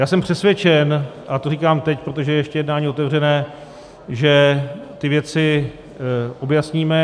Já jsem přesvědčen, a to říkám teď, protože je ještě jednání otevřené, že ty věci objasníme.